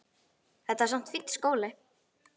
Þetta var samt fínn skóli.